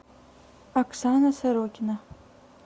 оксана сорокина